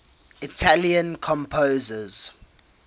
italian composers